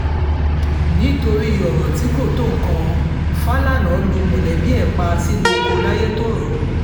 nítorí ọ̀rọ̀ tí kò tó nǹkan fàlànà lu mọ̀lẹ́bí ẹ̀ pa sínú ọkọ̀ layétọ́rọ́